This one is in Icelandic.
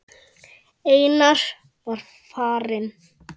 Einar er farinn.